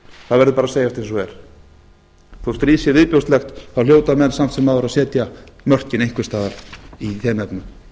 það verður bara að segjast eins og er þótt stríð sé viðbjóðslegt þá hitta menn samt sem áður að setja mörkin einhvers staðar í þeim efnum